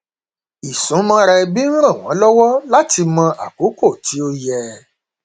ìsúnmọra ẹbí ń ràn wọn lọwọ láti mọ àkókò tí ó yẹ